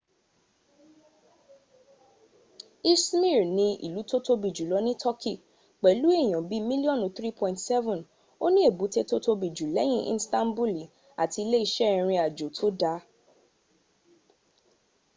ismir ni ìlú tó tobi jùlọ ní toki pẹ̀lú èyàn bíi mílíọ́nù 3.7 o ní ebute tó tóbi jù lẹ́yìn istanbuli àti ile iṣẹ́ ìrìn àjò tó dáa